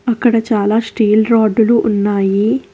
అక్కడ చాలా స్టీల్ రాడ్డులు ఉన్నాయి.